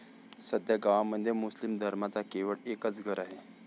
सध्या गावामध्ये मुस्लिम धर्माचे केवळ एकाच घर आहे.